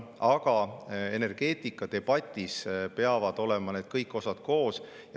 Aga energeetikadebatis peavad olema kõik osad koos.